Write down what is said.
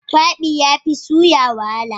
Kwabi yafi suya wahala.